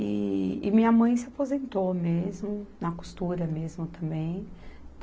E, e minha mãe se aposentou mesmo, na costura mesmo também.